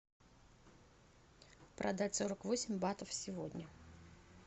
продать сорок восемь батов сегодня